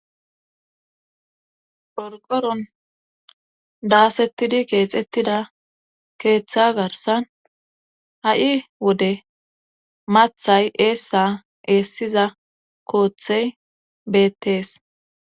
qorqoron daasettidi keexettida keeththa garsan ha7i wode mathay eessa eessiza kooththey beettees.